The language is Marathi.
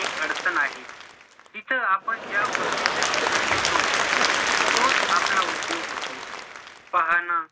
एक अडचण आहे तिथं आपण ज्या गोष्टीच शिक्षण घेतो तोच आपला उद्योग होतो पाहाणं